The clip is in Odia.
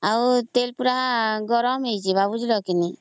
ଆଉ ତେଲ ପୁରା ଗରମ ହେଇଯିବ